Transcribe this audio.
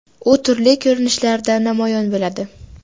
U turli ko‘rinishlarda namoyon bo‘ladi.